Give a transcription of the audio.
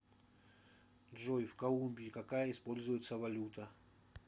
джой в колумбии какая используется валюта